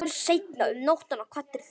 Seinna um nóttina kvaddir þú.